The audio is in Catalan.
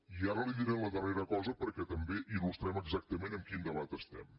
i ara li diré la darrera cosa perquè també il·lustrem exactament en quin debat estem